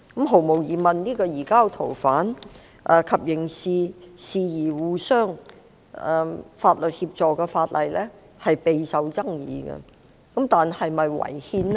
毫無疑問，該項有關移交逃犯及刑事事宜相互法律協助的法案備受爭議，但是否違憲呢？